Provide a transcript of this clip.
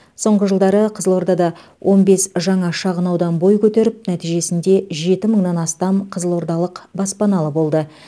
соңғы жылдары қызылордада он бес жаңа шағынаудан бой көтеріп нәтижесінде жеті мыңнан астам қызылордалық баспаналы болды